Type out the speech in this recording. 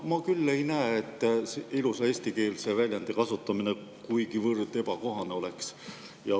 Aga ma küll ei näe, et ilusa eestikeelse väljendi kasutamine kuigivõrd ebakohane oleks.